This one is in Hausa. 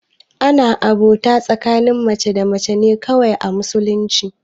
Ana abota tsakanin mace da mace ne kawai a musulunci